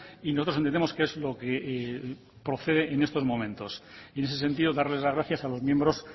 y nosotros entendemos que eso es lo que procede en estos momentos y en ese sentido darles las gracias a los miembros